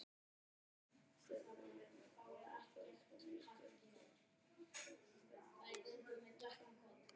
Steinninn er linur, álíka og mjúkur hverfisteinn en eitlarnir allharðir.